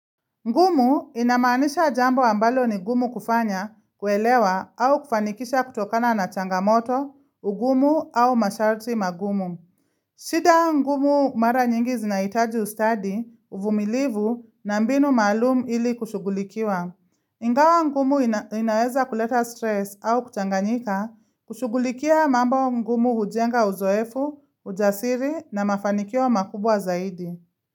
Ngumu inamaanisha jambo ambalo ni gumu kufanya, kuelewa au kufanikisha kutokana na changamoto, ugumu au masharti magumu. Shida ngumu mara nyingi zinahitaji ustadi, uvumilivu na mbinu maalum ili kushughulikiwa. Ingawa ngumu inaweza kuleta stress au kuchanganyika, kushugulikia mambo ngumu hujenga uzoefu, ujasiri na mafanikio makubwa zaidi.